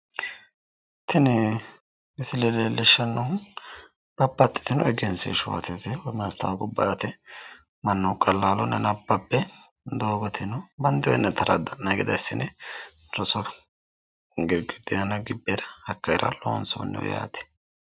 Tini misile leellishshannohu babbaxitino egensiishshuwa woyim maastawoqubba yaate mannu qallaalunni nabbabbe doogote banxoyi yanna taradda'nayi gede assine rosu girgiddi aana gibbera haqqera loonsoonni yaate.